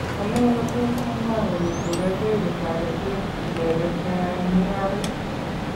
Anee kotos amwaa kole koracheruu taretet ichekeet koyae "mung'areet"